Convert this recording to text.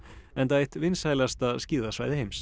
enda eitt vinsælasta skíðasvæði heims